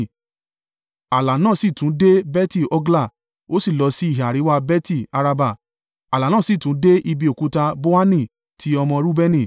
ààlà náà sì tún dé Beti-Hogla, ó sì lọ sí ìhà àríwá Beti-Araba. Ààlà náà sì tún dé ibi Òkúta Bohani ti ọmọ Reubeni.